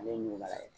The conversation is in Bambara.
Ale ye ɲugula ye